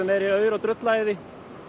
meiri aur og drulla í því